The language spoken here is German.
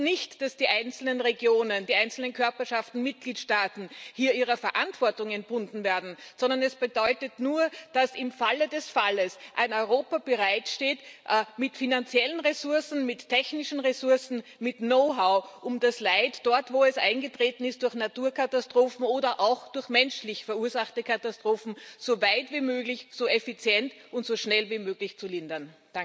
Das heißt nicht, dass die einzelnen Regionen, die einzelnen Körperschaften, die Mitgliedstaaten hier von ihrer Verantwortung entbunden werden, sondern es bedeutet nur, dass im Falle des Falles ein Europa bereit steht mit finanziellen Ressourcen, mit technischen Ressourcen, mit Know how, um das Leid dort, wo es durch Naturkatastrophen oder auch durch menschlich verursachte Katastrophen eingetreten ist, so weit wie möglich, so effizient und so schnell wie möglich zu lindern.